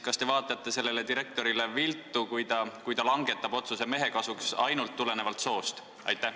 Kas te vaatate sellele direktorile viltu, kui ta langetab otsuse mehe kasuks ainult soost tulenevalt?